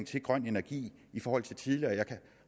til grøn energi i forhold til tidligere jeg kan